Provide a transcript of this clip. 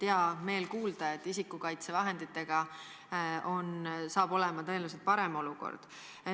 Hea meel on kuulda, et olukord isikukaitsevahenditega saab tõenäoliselt parem olema.